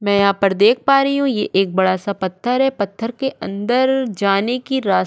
मै यहापर देख पा रही हु ये एक बडासा पत्थर है पत्थर के अंदर जाने की रास --